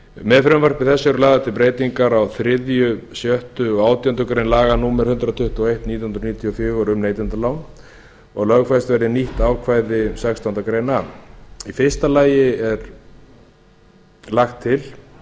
með frumvarpi þessu eru lagðar til breytingar á þriðja sjötta og átjándu grein laga númer hundrað tuttugu og eitt nítján hundruð níutíu og fjögur um neytendalán og að lögfest verði nýtt ákvæði sextándu grein a í fyrsta lagi er lagt til